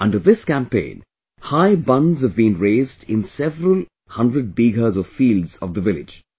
Under this campaign, high bunds have been raised in several hundred bighas of fields of the village